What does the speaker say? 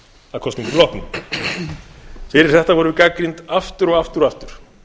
að kosningum loknum fyrir þetta vorum við gagnrýnd aftur og aftur og aftur